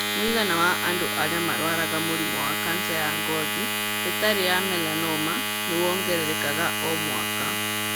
Mũigana wa andũ arĩa marũaraga mũrimũ wa kanca ya ngothi ĩtarĩ ya melanoma nĩ wongererekaga o mwaka.